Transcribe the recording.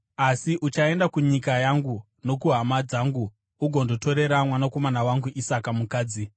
asi uchaenda kunyika yangu nokuhama dzangu ugondotorera mwanakomana wangu Isaka mukadzi.”